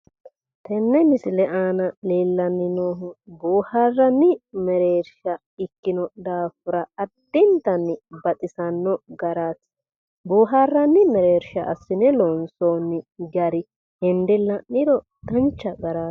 Tenne misile aana leellanni noohu boohaarranni mereersha ikkino daafira addintanni baxisanno garaati. Boohaarranni mereersha assine loonsoonni gari hende la'niro dancha garaati.